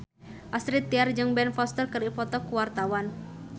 Astrid Tiar jeung Ben Foster keur dipoto ku wartawan